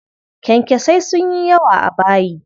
Kyankyasai sun yi yawa a bayi.